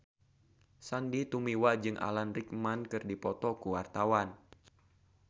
Sandy Tumiwa jeung Alan Rickman keur dipoto ku wartawan